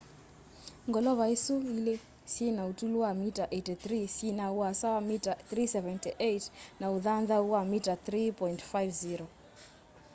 ngolova isũ ĩlĩ syĩna ũtũlu wa mita 83 syina ũasa wa mita 378 na ũthanthau wa mita 3.50